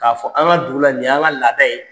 K'a fɔ an ka dugu la nin y'an ka laada ye.